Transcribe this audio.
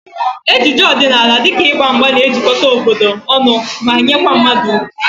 Ejije ọdịnala dịka ịgba mgba na-ejikọta obodo ọnụ ma nyekwa mmadụ ugwu